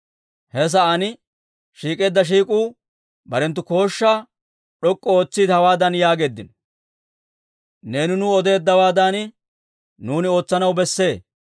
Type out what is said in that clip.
He sa'aan shiik'eedda shiik'uu barenttu kooshshaa d'ok'k'u ootsiide, hawaadan yaageeddino; «Neeni nuw odeeddawaadan nuuni ootsanaw besse.